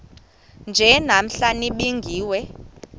nje namhla nibingiwe